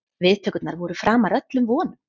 Viðtökurnar voru framar öllum vonum